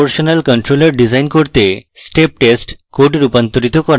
proportional controller design করতে step test code রূপান্তরিত করা